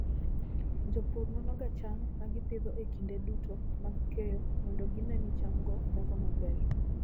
Jopur nonoga cham ma gipidho e kinde duto mag keyo mondo gine ni chamgo dongo maber.